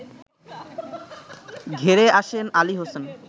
ঘেরে আসেন আলী হোসেন